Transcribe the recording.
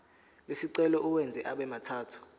lesicelo uwenze abemathathu